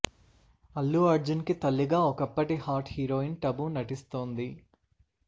అల్లు అర్జున్ కి తల్లిగా ఒకప్పటి హాట్ హీరోయిన్ టబు నటిస్తోంది